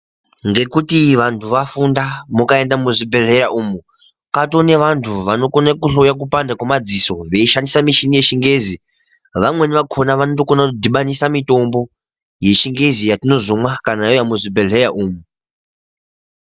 Ngekuti vantu vafunda, mukaenda muzvibhehleya umu, katoone vantu vanokone kuhloye kupanda kwemadziso, veishandisa mishini yechingezi. Vamweni vakhona vanotokona kudhibanisa mitombo, yechingezi, yatinozomwa kana yauya muzvibhehleya umu.